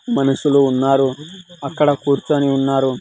మనుషులు ఉన్నారు అక్కడ కూర్చొని ఉన్నారు.